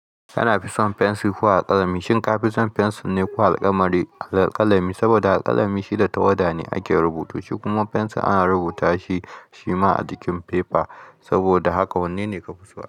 Kana fi son fensir ko alkalami? Shin ka fi son fensir ne ko alkalami? Saboda alkalami shi da tawada ne ake rubutu shi kuma fensir ana rubuta shi shima a jikin fefa. Saboda haka wanne ne ka fi so?